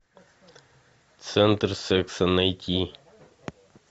центр секса найти